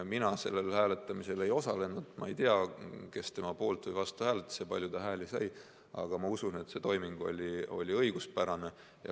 Mina sellel hääletamisel ei osalenud, ma ei tea, kes tema poolt või vastu hääletas ja kui palju ta hääli sai, aga ma usun, et see toiming oli õiguspärane.